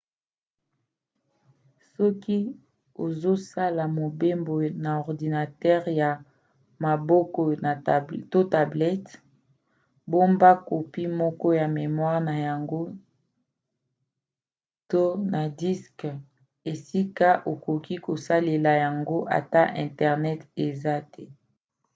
soki ozosala mobembo na ordinatere ya maboko to tablete bomba kopi moko na memoire na yango to na diske esika okoki kosalela yango ata internet eza te